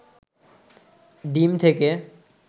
ডিম থেকে